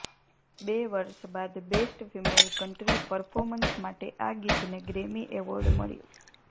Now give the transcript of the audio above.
બે વર્ષ બાદ બેસ્ટ ફિમેલ કન્ટ્રી પર્ફોમન્સ માટે આ ગીતને ગ્રેમી એવોર્ડ મળ્યો